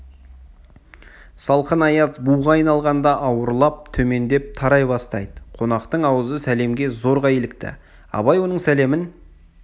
салқын аяз буға айналғанда ауырлап төмендеп тарай бастайды қонақтың аузы сәлемге зорға илікті абай оның сәлемін